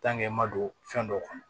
i ma don fɛn dɔw kɔnɔ